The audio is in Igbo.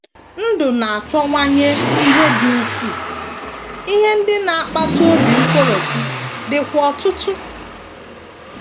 NDỤ na - achọwanye ihe dị ukwuu, ihe ndị na - akpata obi nkoropụ dịkwa ọtụtụ.